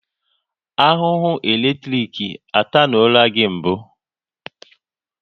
Ahụhụ eletrik atanuola gị mbụ?